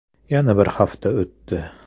Yana bir hafta o‘tdi.